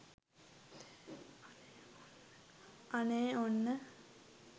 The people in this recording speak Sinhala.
අනේ ඔන්න